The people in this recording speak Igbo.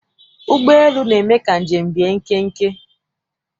Ụgbọelu na-eme ka njem bie nkenke.